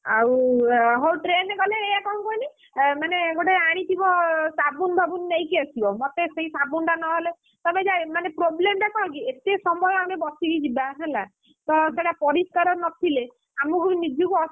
ୱହଉ train ରେ ଗଲେ ଏୟା କଣ କୁହନି? ମାନେ ଗୋଟେ ଆଣିଥିବ ସାବୁନ ଫାବୁନ ନେଇକି ଆସିବ ମତେ ସେଇ ସାବୁନ ଟା ନହେଲେ, ତମେ problem ଟା କଣକି ଏତେ ସମୟ ଆମେ ବସିକି ଯିବା ହେଲା! ତ ସେଇଟା ପରିଷ୍କାର ନଥିଲେ, ଆମକୁ ବି ନିଜକୁ ଅସନା,